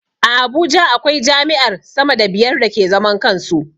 A Abuja akwai jami'ar sama da biyar da ke zaman kansu